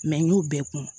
n y'o bɛɛ kun